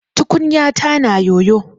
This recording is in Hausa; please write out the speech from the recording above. Tukunyata na yoyo.